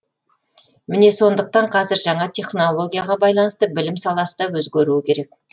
міне сондықтан қазір жаңа технологияға байланысты білім саласы да өзгеруі керек